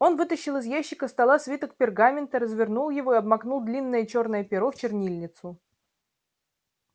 он вытащил из ящика стола свиток пергамента развернул его и обмакнул длинное чёрное перо в чернильницу